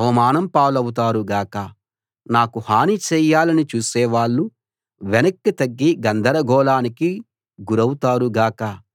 అవమానం పాలవుతారు గాక నాకు హాని చేయాలని చూసే వాళ్ళు వెనక్కి తగ్గి గందరగోళానికి గురౌతారు గాక